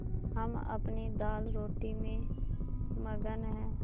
हम अपनी दालरोटी में मगन हैं